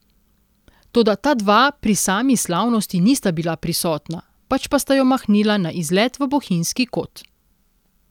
Toda ta dva pri sami slavnosti nista bila prisotna, pač pa sta jo mahnila na izlet v bohinjski kot.